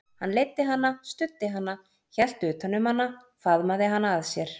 Hann leiddi hana, studdi hana, hélt utan um hana, faðmaði hana að sér.